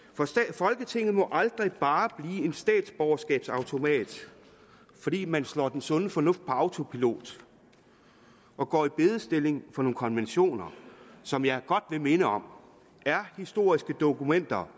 folketinget må aldrig bare blive en statsborgerskabsautomat fordi man slår den sunde fornuft på autopilot og går i bedestilling for nogle konventioner som jeg godt vil minde om er historiske dokumenter